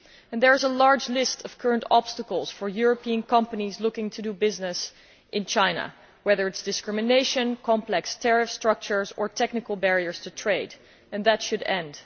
There is a large list of current obstacles for European companies looking to do business in China whether it is discrimination, complex tariff structures or technical barriers to trade and this should end.